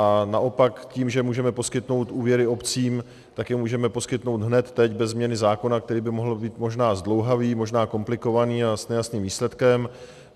A naopak tím, že můžeme poskytnout úvěry obcím, tak je můžeme poskytnout hned teď beze změny zákona, který by mohl být možná zdlouhavý, možná komplikovaný a s nejasným výsledkem.